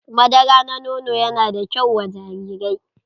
Madara na nono ya na da kyau wa jarirai.